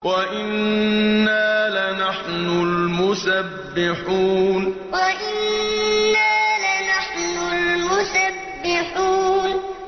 وَإِنَّا لَنَحْنُ الْمُسَبِّحُونَ وَإِنَّا لَنَحْنُ الْمُسَبِّحُونَ